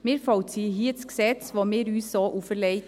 Wir vollziehen das Gesetz, welches wir uns so auferlegt haben.